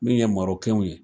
Min ye Marikɛnw ye.